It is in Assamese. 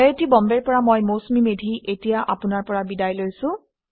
আৰু এয়া হৈছে মৌচুমীমেধীআইআইটিবম্বেৰ পৰা